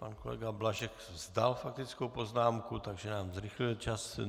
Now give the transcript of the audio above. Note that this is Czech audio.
Pan kolega Blažek vzdal faktickou poznámku, takže nám zrychlil čas.